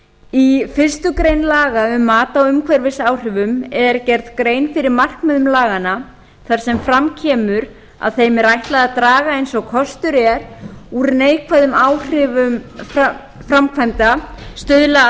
í fyrstu grein laga um mat á umhverfisáhrifum er gerð grein fyrir markmiðum laganna þar sem fram kemur að þeim er ætlað að draga eins og kostur er úr neikvæðum áhrifum framkvæmda stuðla